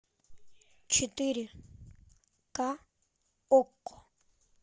четыре к окко